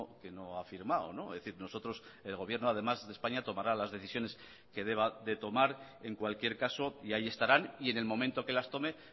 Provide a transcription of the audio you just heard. que no ha firmado es decir nosotros el gobierno además de españa tomará las decisiones que deba de tomar en cualquier caso y ahí estarán y en el momento que las tome